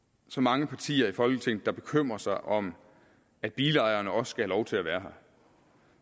så mange partier i folketinget der bekymrer sig om at bilejerne også skal have lov til at være her